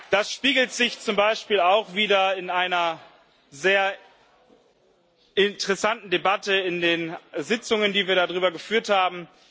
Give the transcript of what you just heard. Das spiegelt sich zum Beispiel auch wider in einer sehr interessanten Debatte, in den Sitzungen, die wir darüber geführt haben.